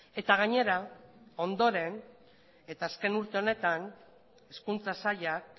eta gainera ondoren eta azken urte honetan hezkuntza sailak